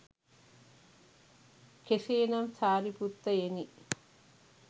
කෙසේ නම් සාරිපුත්තයෙනි